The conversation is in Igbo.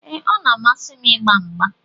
Ee, ọ na-amasị m ịgba mgba.